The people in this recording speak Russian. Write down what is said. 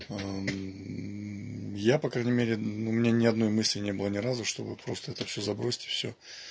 я по крайней мере у меня ни одной мысли не было ни разу чтобы просто это все забросьте все